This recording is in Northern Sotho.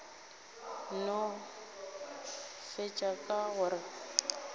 no fetša ka go re